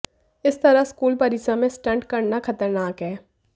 इस तरह स्कूल परिसर में स्टंट करना खतरनाक है